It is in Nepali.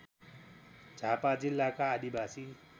झापा जिल्लाका आदिवासी